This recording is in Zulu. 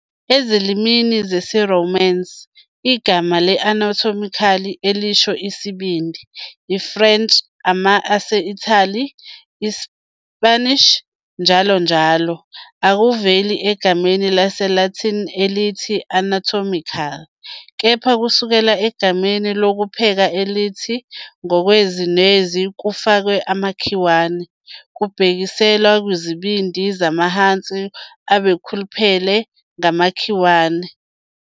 Ezilimini zesiRomance, igama le-anatomical elisho "isibindi", i-French, Ama- ase-Italy, ISpanish, njll. akuveli egameni lesiLatini elithi anatomical, kepha kusukela egameni lokupheka elithi, ngokwezwi nezwi "kufakwe amakhiwane," kubhekiselwa kwizibindi zamahansi abekhuluphele ngamakhiwane.